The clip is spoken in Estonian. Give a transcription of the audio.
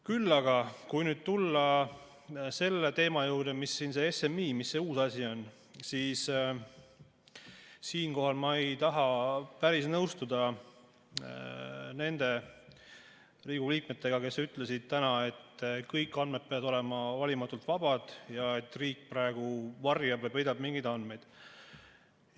Kui aga tulla selle SMI teema juurde, mis siin see uus asi on, siis siinkohal ma ei taha päris nõustuda nende Riigikogu liikmetega, kes ütlesid täna, et kõik andmed peavad olema valimatult vabad ja et riik praegu varjab ja peidab mingeid andmeid.